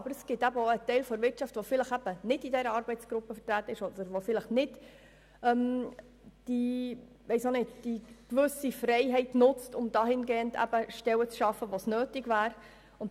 Daneben gibt es aber Teile der Wirtschaft, die in dieser Begleitgruppe nicht vertreten sind und die ihre Freiheit nicht dafür nutzen, freie Stellen zu schaffen, wo es nötig wäre.